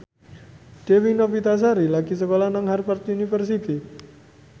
Dewi Novitasari lagi sekolah nang Harvard university